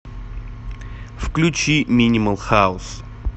включи минимал хаус